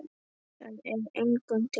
Það er engum til góðs.